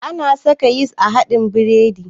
Ana saka yis a haɗin biredi